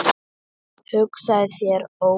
Hugsaðu þér Óli!